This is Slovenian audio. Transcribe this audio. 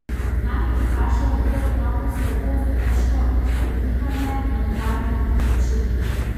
Znaki, ki kažejo, da gre otroku slabo, so težko hitro dihanje in odklanjanje tekočin.